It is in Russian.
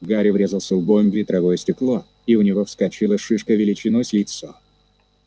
гарри врезался лбом в ветровое стекло и у него вскочила шишка величиной с яйцо